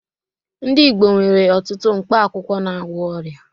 Ndị Igbo nwere ọtụtụ mkpa akwụkwọ na-agwọ ọria.